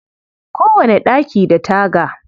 Kowane ɗaki da taga.